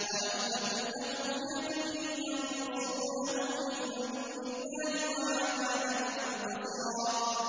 وَلَمْ تَكُن لَّهُ فِئَةٌ يَنصُرُونَهُ مِن دُونِ اللَّهِ وَمَا كَانَ مُنتَصِرًا